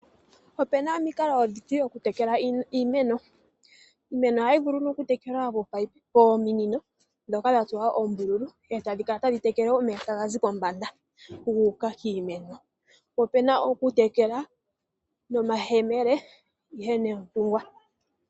Opena omikalo odhindji dhoku tekela iimeno. Iimeno ohayi vulu oku tekelwa noominino ndhoka dha tsuwa oombululu eta dhikala tadhi tekele omeya taga zi pombanda guuka kiimeno. Opuna woo oku tekela nomayemele.